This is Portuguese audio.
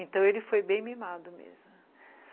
Então ele foi bem mimado mesmo.